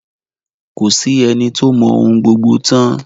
Ko sí ẹni tó mọ ohun gbogbo tán.